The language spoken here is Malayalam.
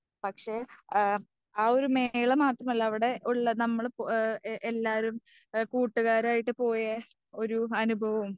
പക്ഷേ ആ ഒരു മേള മാത്രമല്ല അവിടെ ഉള്ള നമ്മള് പോയ എല്ലാരും കുട്ടുകാരായിട്ട് പോയ ഒരു അനുഭവവും.